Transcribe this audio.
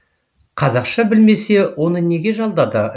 қазақша білмесе оны неге жалдады